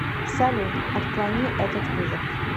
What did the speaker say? салют отклони этот вызов